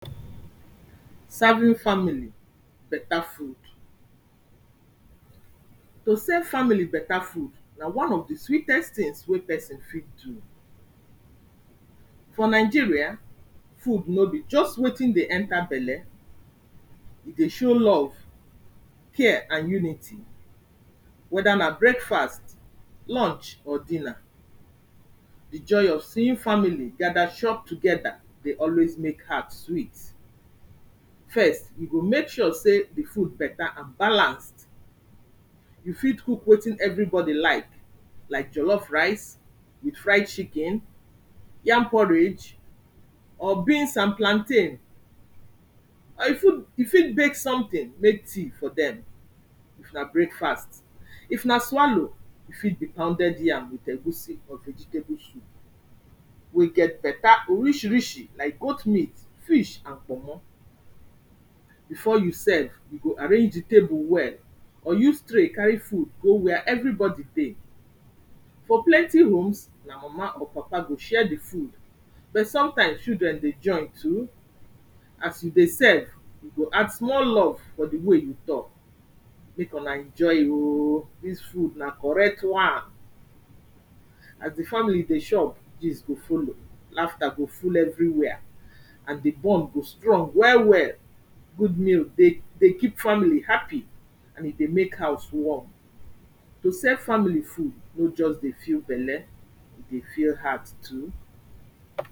Serving family better food. To seve family better food na one of di sweetest things wey person fit do. For Nigeria, food no be just wetin dey enter belle, e dey show love, care, and unity, weda na breakfast, lunch or dinner. Di joy of seeing family gada chop together dey always make heart sweet. First, we go mek sure sey di food better and balanced, you fit cook wetin everybody like, like jollof rice with fried chicken, yam porridge or beans and plantain, or you fit bake something, mek tea for dem if na breakfast, if na swallow, e fit be pounded yam with egusi or vegetable soup wey get better orishirishi like goat meat, fish and kpomo, before you serve you go arrange di table well or use tray carry food go where everybody dey. For plenty rooms na mama or papa go share di food, but sometimes children dey join too, as you dey serve you go add small love for di way you tok, ‘mek una enjoy o, dis food na correct one’ as di family dey chop, gist go follow, laughter go full everywhere and di bond go strong well well. Good meal dey, dey keep family happy and e dey mek house warm. To serve family food no just dey fill belle, e dey fill heart too.